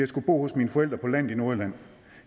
skulle bo hos mine forældre på landet i nordjylland